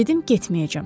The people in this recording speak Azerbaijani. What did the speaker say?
Dedim getməyəcəm.